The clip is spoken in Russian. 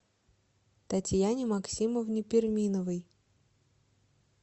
татьяне максимовне перминовой